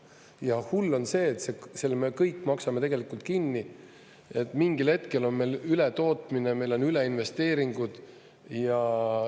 Ja hull on see, et selle me kõik maksame tegelikult kinni, et mingil hetkel on meil ületootmine, on üleinvesteeringud.